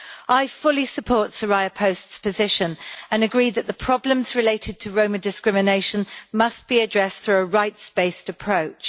I fully support Soraya Post's position and agree that the problems related to Roma discrimination must be addressed through a rights based approach.